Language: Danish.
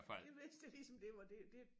Det vidste jeg ligesom det var det det